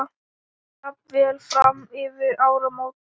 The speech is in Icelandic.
Jafnvel fram yfir áramót.